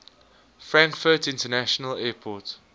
frankfurt international airport